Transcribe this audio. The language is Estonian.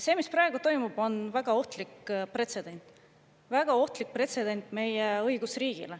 See, mis praegu toimub, on väga ohtlik pretsedent, väga ohtlik pretsedent meie õigusriigis.